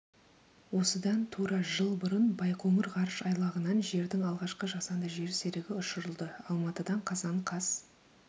осыдан тура жыл бұрын байқоңыр ғарыш айлағынан жердің алғашқы жасанды жер серігі ұшырылды алматы қазан қаз